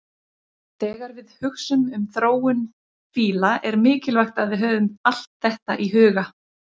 Þegar við hugsum um þróun fíla er mikilvægt að við höfum allt þetta í huga.